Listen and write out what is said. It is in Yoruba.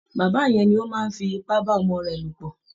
Bàbá yẹn ni ó máa ń fi ipá bá ọmọ rẹ̀ lò pọ̀